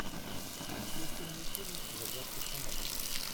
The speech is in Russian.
включи мне фильм загадки шамана